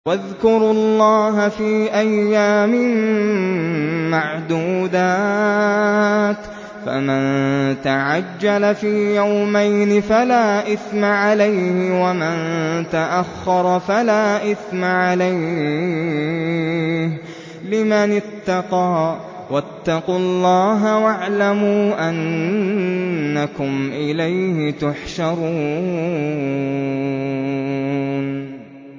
۞ وَاذْكُرُوا اللَّهَ فِي أَيَّامٍ مَّعْدُودَاتٍ ۚ فَمَن تَعَجَّلَ فِي يَوْمَيْنِ فَلَا إِثْمَ عَلَيْهِ وَمَن تَأَخَّرَ فَلَا إِثْمَ عَلَيْهِ ۚ لِمَنِ اتَّقَىٰ ۗ وَاتَّقُوا اللَّهَ وَاعْلَمُوا أَنَّكُمْ إِلَيْهِ تُحْشَرُونَ